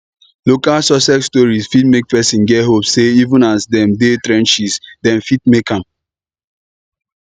local success stories fit make person get hope sey even as dem dey trenches dem fit make am